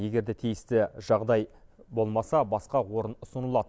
егер де тиісті жағдай болмаса басқа орын ұсынылады